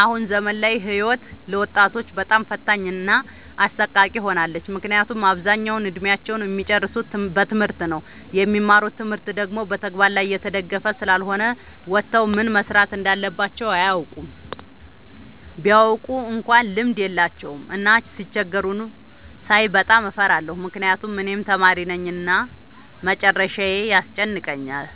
አሁን ዘመን ላይ ህይወት ለወጣቶች በጣም ፈታኝ እና አሰቃቂ ሆናለች። ምክንያቱም አብዛኛውን እድሜአቸውን እሚጨርሱት በትምህርት ነው። የሚማሩት ትምህርት ደግሞ በተግበር ላይ የተደገፈ ስላልሆነ ወተው ምን መስራት እንዳለባቸው አያውቁም። ቢያውቁ እንኳን ልምድ የላቸውም። እና ሲቸገሩ ሳይ በጣም እፈራለሁ ምክንያቱም እኔም ተማሪነኝ እና መጨረሻዬ ያስጨንቀኛል።